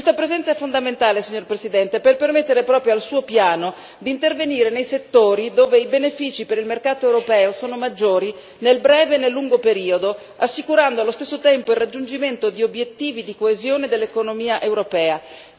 Questa presenza è fondamentale, signor Presidente, per permettere proprio al suo piano di intervenire nei settori dove i benefici per il mercato europeo sono maggiori nel breve e nel lungo periodo, assicurando allo stesso tempo il raggiungimento di obiettivi di coesione dell'economia europea.